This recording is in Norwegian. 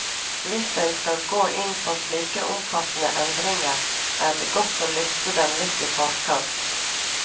Hvis en skal gå inn på slike omfattende endringer, er det godt å lufte dem litt i forkant.